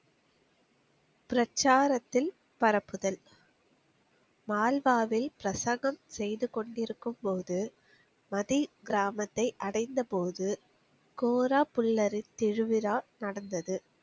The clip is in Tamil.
பிரச்சாரத்தில் பரப்புதல். மால்வாவில் பிரசங்கம் செய்து கொண்டிருக்கும் போது, மதி கிராமத்தை அடைந்த போது, கோரா புல்லரி திருவிழா நடந்தது.